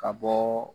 Ka bɔ